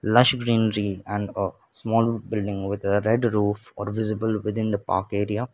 lush greenery and a small building with a red roof are visible within the park area.